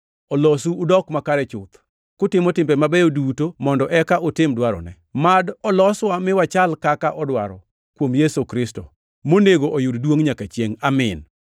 olosu udok makare chuth, kutimo timbe mabeyo duto mondo eka utim dwarone. Mad oloswa mi wachal kaka odwaro, kuom Yesu Kristo, monego oyud duongʼ nyaka chiengʼ! Amin.